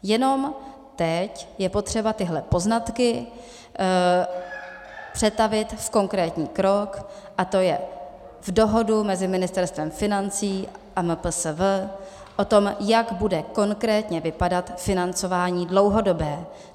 Jenom teď je potřeba tyhle poznatky přetavit v konkrétní krok, a to je v dohodu mezi Ministerstvem financí a MPSV o tom, jak bude konkrétně vypadat financování dlouhodobé.